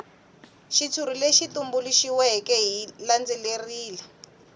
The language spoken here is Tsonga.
xitshuri lexi tumbuluxiweke xi landzelerile